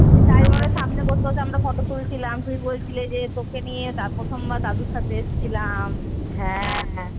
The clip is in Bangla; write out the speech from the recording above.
Driver এর সামনে বসে বসে আমরা ফটো তুলছিলাম তুমি বলেছিলে যে তোকে নিয়ে প্রথমবার দাদুর সাথে এসছিলাম